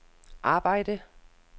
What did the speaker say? arbejde